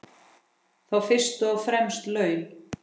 Þá fyrst og fremst laun.